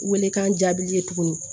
Welekan jaabi ye tuguni